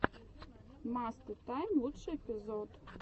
мастэ тайм лучший эпизод